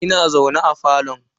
Ina zaune a falo.